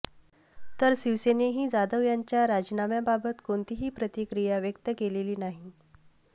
तर शिवसेनेनेही जाधव यांच्या राजीनाम्याबाबत कोणतीही प्रतिक्रिया व्यक्त केलेली नाही